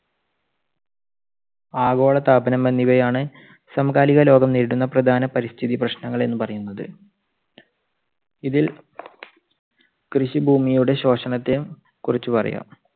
ആഗോളതാപനം എന്നിവയാണ് സമകാലിക ലോകം നേരിടുന്ന പ്രധാന പരിസ്ഥിതി പ്രശ്നങ്ങൾ എന്ന് പറയുന്നത്. ഇതിൽ കൃഷി ഭൂമിയുടെ ശോഷണത്തെ കുറിച്ച് പറയാം.